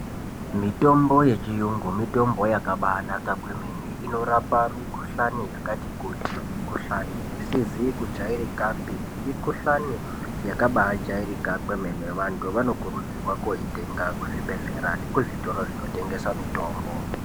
Mitombo yechiyungu mitombo yakabanaka kwemene inorapa mukuhlani yakati kuti , mukuhlani isizi kujairikapi , mukuhlani yakabai jairika kwemene vantu vanokurudzirwa kunoitenga kuzvigwehlere nekuzvitoro zvinotengesa mitombo.